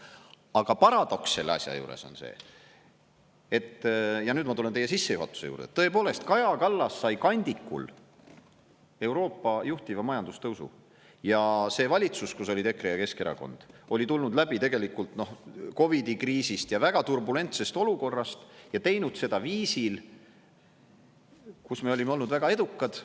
Aga paradoks selle asja juures on see, et – ja nüüd ma tulen teie sissejuhatuse juurde – tõepoolest, Kaja Kallas sai kandikul Euroopa juhtiva majandustõusu, ja see valitsus, kus olid EKRE ja Keskerakond oli tulnud läbi tegelikult COVID-i kriisist ja väga turbulentsest olukorrast ja teinud seda viisil, kus me olime olnud väga edukad.